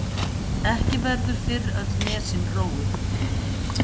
Ekki verður fyrr öll nesin róið.